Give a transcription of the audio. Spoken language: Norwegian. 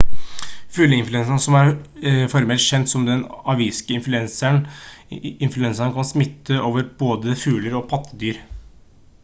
fugleinfluensa som er formelt kjent som den aviske influensaen kan smitte over på både fugler og pattedyr